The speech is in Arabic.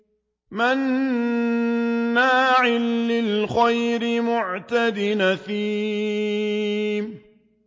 مَّنَّاعٍ لِّلْخَيْرِ مُعْتَدٍ أَثِيمٍ